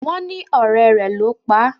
Wón ní ọ̀rẹ́ rẹ ló pá.